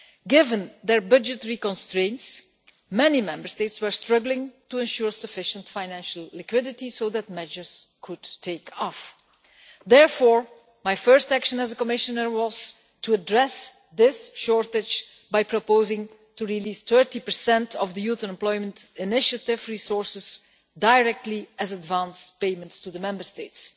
Given their budgetary constraints, many Member States were struggling to ensure sufficient financial liquidity so that measures could take off. Therefore, my first action as a Commissioner was to address this shortage by proposing to release 30 of the Youth Employment Initiative resources directly as advance payments to the Member States.